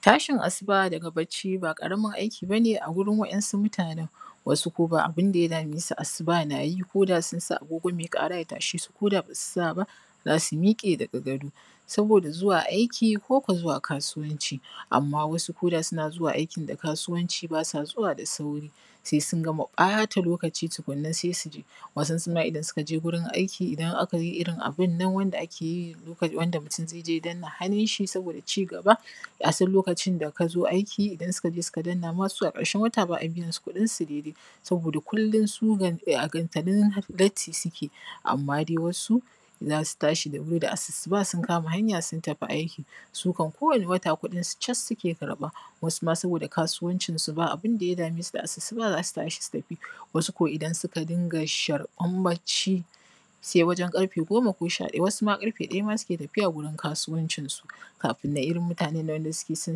Tashin asuba daga baccii ba ƙaramin aiki bane a wurin waɗansu mutanen, wasu ko ba abun da ya dame su asuba nayi koda sun sa aagogo mai ƙara ya tashe su ko da basu sa ba zasu miiƙe daga gado saboda zuwa aiki ko ko zuwa kasuwanci. Amman wasu koda suna aikin da kasuwanci ba sa zuwa da sauri sai sun gama ɓata lokaci tukunna sai su je, wasunsu ma idan suka je wurin aiki idan aka je irin abunan wanda ake yi wanda mutum zai je ya danna hannun shi sabida cigaba a san lokacin da kazo aiki. Idan suka je suka danna masu a ƙarshen wata ba`a biyansu kuɗin su daidai saboda kullum su a gantalin latti suke amma dai wasu za su tashi da wurii da asusuba sun kama hanya sun tafi aiki sukan kowani wata kuɗin su cas suke karɓa wasu ma saboda kasuwancin su ba abun da ya dame su da asusuba zasu tashi su tafi wasu ko idan suka dinga sharɓan bacci sai wajen karfe goma ko sha ɗaya, wasu ma sai karfe ɗaya ma suke tafiya gurin kasuwancin su kafin nan irin mutanen nan wanda suke son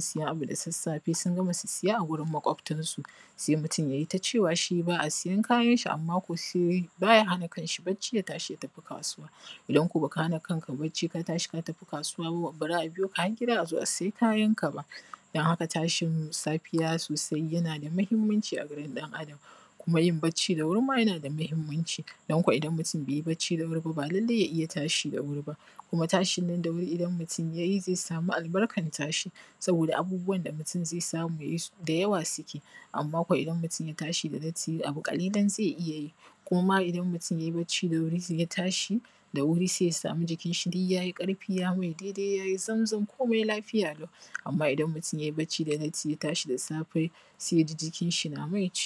sayen abu da sassafe sun gama sassaya a wurin makwabtan su sai mutum yai tacewa wai shi ba`a sayen kayan shi amma ko shi baya hana kan shi bacci ya tashi ya tafi kasuwa idan kuwa baka hana kanka bacci ba ka tashi ka tafi ba za`a biyo ka har giida a zo a saya kayan ka ba, dan haka tashi safiya sosai yana da muhimmanci a wajen ɗan Adam komi yin bacci da wuri ma yana da mahimmanci don ko idan mutum bai bacci da wuri ba, ba lallai ya iya tashi da wuri ba kuma tashin nan da wuri idan mutum ya yi zai samu albarkan tashi saboda abubuwan da mutum zai samu da yawa suke amma kuma idan mutum ya tashi da latti abu ƙalilan zai iya yi ko ma idan mutum yai bacci da wuri sai ya tashi da wuri zai samu jikin shi duk yayi ƙarfi ya mai daidai yayi zamzam komi lafiya lau amma idan mutum yai bacci da latti zai tashi da safe sai ya ji jikin shi na mai ciwoo.